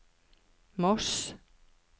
Moss